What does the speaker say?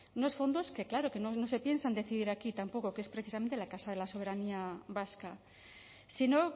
unos fondos que claro que no se piensan decidir aquí tampoco que es precisamente la casa de la soberanía vasca sino